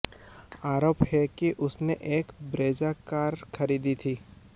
आरोप है कि उसने एक ब्रेजा कार खरीदी थी